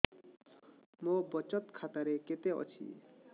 ମୋ ବଚତ ଖାତା ରେ କେତେ ଅଛି